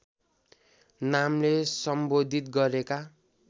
नामले सम्बोधित गरेका